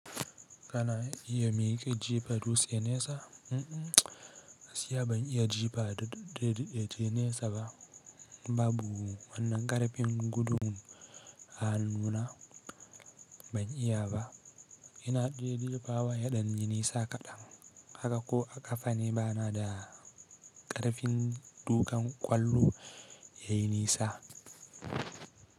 Kana iya miƙe jifa dutse nesa? Gaskiya ban iya jifa daɗeɗe je nesa ba babu wannan ƙarfin gudun A hannuna ban iya ba. Ina de jefawa yaɗan yi nisa kaɗan haka ko a ƙafa ne bana da ƙarfin duƙan ƙwallo ya yi nesa.